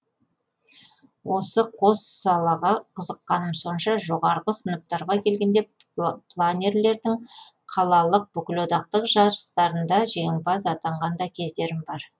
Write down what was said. осы қос салаға қызыққаным сонша жоғарғы сыныптарға келгенде планерлердің қалалық бүкілодақтық жарыстарында жеңімпаз атанған да кездерім бар